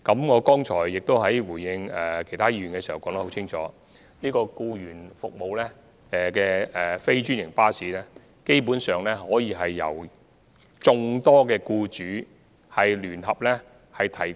我剛才答覆其他議員時亦已清楚說明，提供僱員服務的非專營巴士基本上可以由眾多僱主聯合安排。